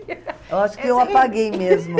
Eu acho que eu apaguei mesmo.